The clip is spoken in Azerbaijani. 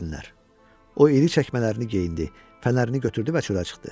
O iri çəkmələrini geyindi, fənərini götürdü və çölə çıxdı.